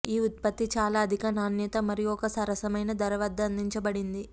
ఈ ఉత్పత్తి చాలా అధిక నాణ్యత మరియు ఒక సరసమైన ధర వద్ద అందించబడింది